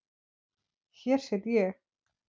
Hér sit ég.